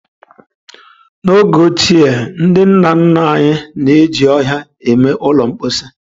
N'oge ochie, ndị nna nna anyị na-eji ọhịa eme ụlọ mposi.